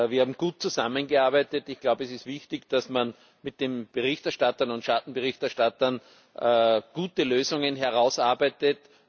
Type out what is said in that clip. Wir haben gut zusammengearbeitet. Ich glaube, es ist wichtig, dass man mit den Berichterstattern und Schattenberichterstattern gute Lösungen herausarbeitet.